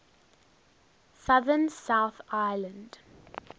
southern south island